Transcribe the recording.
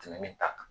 Tɛmɛnen ta kan